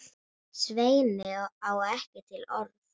Svenni á ekki til orð.